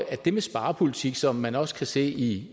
at en sparepolitik er som man også kan se i